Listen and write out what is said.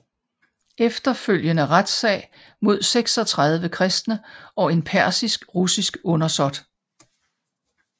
Efterfølgende retssag mod 36 kristne og en persisk russisk undersåt